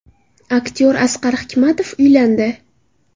Aktyor Asqar Hikmatov uylandi.